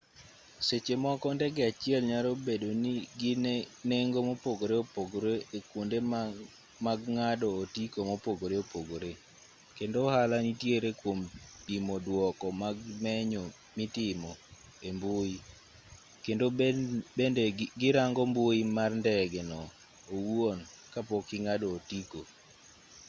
seche moko ndege achiel nyalo bedo gi nengo mopogore opogore e kuonde mag ng'ado otiko mopogore opogore kendo ohala nitiere kuom pimo duoko mag menyo mitimo e mbui kendo bende gi rango mbui mar ndege no owuon ka pok ing'ado otiko